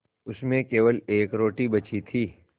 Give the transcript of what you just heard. उसमें केवल एक रोटी बची थी